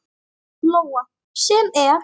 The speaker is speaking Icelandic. Lóa: Sem er?